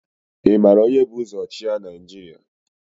Ị mara onye bu ụzọ chịa Naịjirịa?